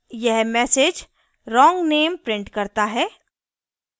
यह message wrong name prints करता है